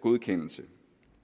godkendelse